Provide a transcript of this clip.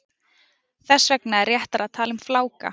Þess vegna er réttara að tala um fláka.